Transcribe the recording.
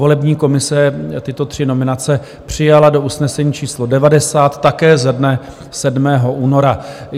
Volební komise tyto tři nominace přijala do usnesení číslo 90, také ze dne 7. února.